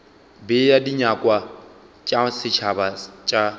bea dinyakwa tša setšhaba tša